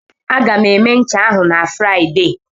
Aga m eme ncha ahụ na Fraịde.